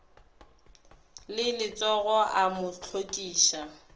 le letsogo o mo hlokiša